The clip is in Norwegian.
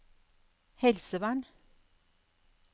helsevern